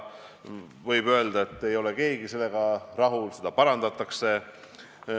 Võib öelda, et keegi ei ole sellega rahul, ja seda parandatakse.